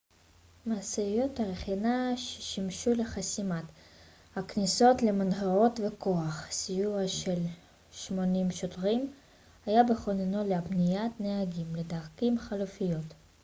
משאיות רכינה שימשו לחסימת הכניסות למנהרות וכוח סיוע של 80 שוטרים היה בכוננות להפניית נהגים לדרכים חלופיות